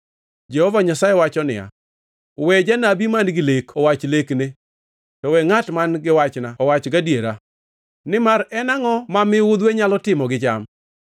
Jehova Nyasaye wacho niya, “We janabi man-gi lek owach lekne, to we ngʼat man giwachna owache gadiera. Nimar en angʼo ma miudhwe nyalo timo gi cham?”